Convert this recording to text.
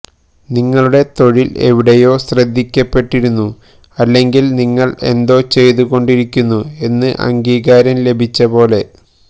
നിങ്ങളുടെ തൊഴിൽ എവിടെയോ ശ്രദ്ധിക്കപ്പെട്ടിരുന്നു അല്ലെങ്കിൽ നിങ്ങൾ എന്തോ ചെയ്തു കൊണ്ടിരിക്കുന്നു എന്ന് അംഗീകാരം ലഭിച്ച പോലെ